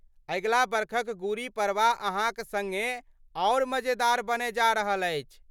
अगिला बरखक गुड़ी पड़वा अहाँक सङ्गे आओर मजेदार बनय जा रहल अछि।